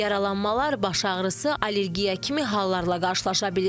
Yaralanmalar, baş ağrısı, allergiya kimi hallarla qarşılaşa bilirik.